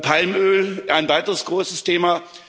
Palmöl ein weiteres großes Thema.